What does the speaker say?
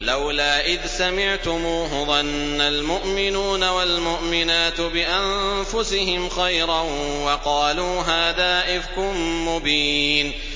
لَّوْلَا إِذْ سَمِعْتُمُوهُ ظَنَّ الْمُؤْمِنُونَ وَالْمُؤْمِنَاتُ بِأَنفُسِهِمْ خَيْرًا وَقَالُوا هَٰذَا إِفْكٌ مُّبِينٌ